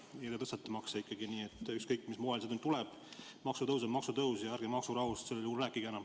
Aga teie tõstate makse ikkagi, nii et ükskõik, mis moel see tuleb, maksutõus on maksutõus ja ärge maksurahust sel juhul enam rääkige.